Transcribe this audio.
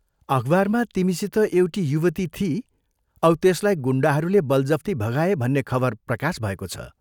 अखबारमा तिमीसित एउटी युवती थिई औ त्यसलाई गुण्डाहरूले बलजफ्ती भगाए भन्ने खबर प्रकाश भएको छ।